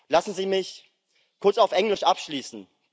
Lassen Sie mich kurz auf Englisch abschließen.